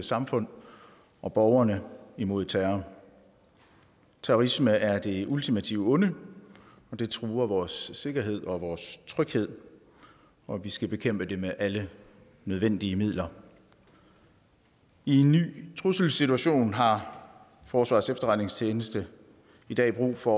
samfund og borgerne imod terror terrorisme er det ultimativt onde den truer vores sikkerhed og vores tryghed og vi skal bekæmpe den med alle nødvendige midler i en ny trusselssituation har forsvarets efterretningstjeneste i dag brug for